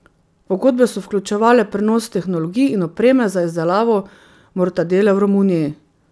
Pogodbe so vključevale prenos tehnologij in opreme za izdelavo mortadele v Romuniji.